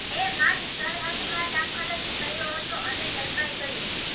એ માંડ સરહદમાં દાખલ જ થયો હતો અને ઝડપાઈ ગયો